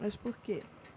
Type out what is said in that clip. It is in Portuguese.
Mas por quê?